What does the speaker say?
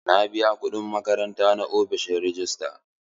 Na biya kuɗin makaranta na a ofishin rejista.